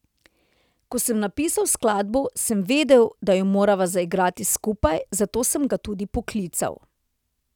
Ko sem napisal skladbo, sem vedel, da jo morava zaigrati skupaj, zato sem ga tudi poklical.